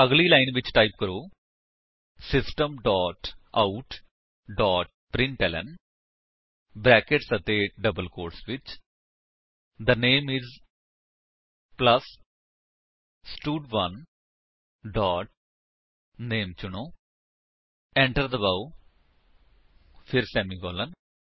ਅਗਲੀ ਲਾਇਨ ਵਿੱਚ ਟਾਈਪ ਕਰੋ system dot out dot println brackets ਅਤੇ ਡਬਲ ਕੋਟਸ ਵਿੱਚ the name is plus stud one dot name ਚੁਣੋ ਏੰਟਰ ਦਬਾਓ ਫਿਰ ਸੇਮੀਕਾਲਨ